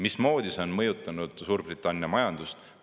Mismoodi see on mõjutanud Suurbritannia majandust?